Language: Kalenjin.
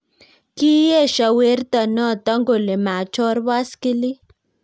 Kiesho werto noto kole machor baskilit